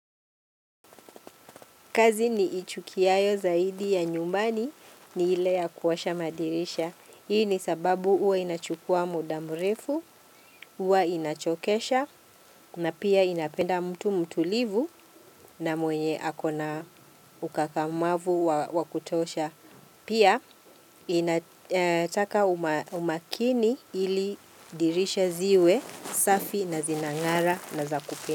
Kazi niichukiayo zaidi ya nyumbani ni ile ya kuwasha madirisha. Hii ni sababu huwa inachukua muda mrefu, huwa inachokesha na pia inapenda mtu mtulivu na mwenye akona ukakamavu wa kutosha. Pia inataka umakini ili dirisha ziwe safi na zinangara na zakupe.